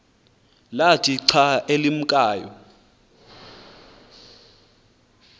kwathi xa limkayo